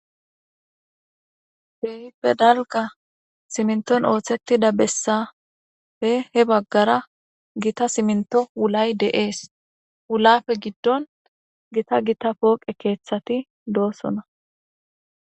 Ke'ippe dalgga simiintton ooththettida bessappe he baggara gita simiintto wulay de'ees wulappe giddon gita gita poqqe keeththati doosona